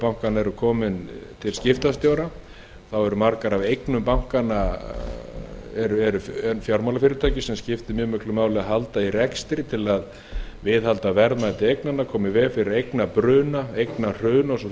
bankanna eru komin til skiptastjóra þá eru margar af eignum bankanna fjármálafyrirtækis sem skiptir mjög miklu máli að halda í rekstri eitt að viðhaldi verðmæti eignanna koma í veg fyrir eignabruna eignahrun og svo